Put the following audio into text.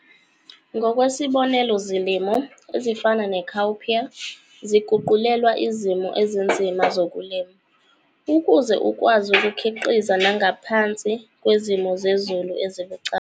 Ngokwesibonelo zilimo ezifana ne-cowpea ziguqulelwa izimo ezinzima zokulima, ukuze ukwazi ukukhiqiza nangaphansi kwezimo zezulu ezibucayi.